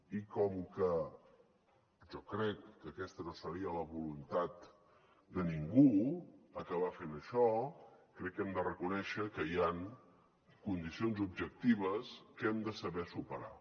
i com que jo crec que aquesta no seria la voluntat de ningú acabar fent això crec que hem de reconèixer que hi ha condicions objectives que hem de saber superar